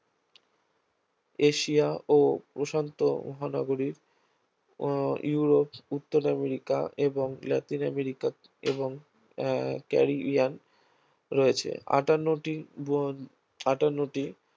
Asia ও প্রশান্ত মহানগরীর আহ ইউরোপ, উত্তর আমেরিকা এবং লাতিন আমেরিকা এবং আহ ক্যারিবিয়ান রয়েছে আটান্নটি বন আটান্নটি